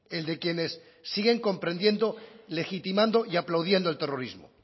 el de quienes siguen comprendiendo legitimando y aplaudiendo el terrorismo